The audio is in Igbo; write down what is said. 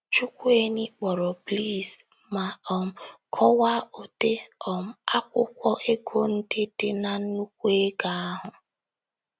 Chukwuaine kpọrọ Blaise ma um kọwaa ụdị um akwụkwọ ego ndị dị n’nnùkwù ego ahụ.